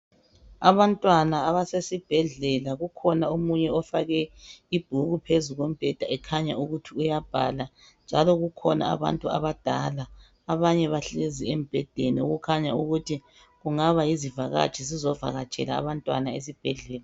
Abantwana abasesibhedlela kukhona omunye ofake ibhuku phezulu kombheda ekhanya ukuthi uyabhala njalo kukhona abantu abadala abanye bahlezi embhedeni okukhanya ukuthi kungaba ziyivakatshi ezizovakatshela abantwana esibhedlela.